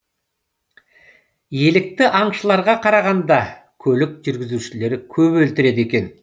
елікті аңшыларға қарағанда көлік жүргізушілері көп өлтіреді екен